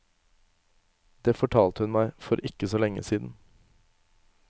Det fortalte hun meg for ikke så lenge siden.